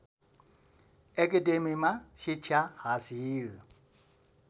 एकेडेमीमा शिक्षा हासिल